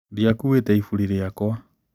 Ndiakuuĩte ĩbũri riakwa.